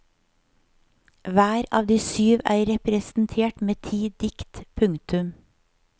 Hver av de syv er representert med ti dikt. punktum